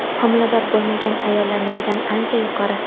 homilador bo‘lmagan ayollarnikidan ancha yuqori.